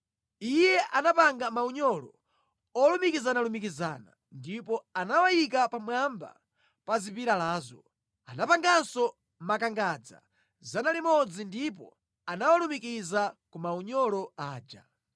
Iye anapanga maunyolo olumikizanalumikizana ndipo anawayika pamwamba pa zipilalazo. Anapanganso makangadza 100 ndipo anawalumikiza ku maunyolo aja.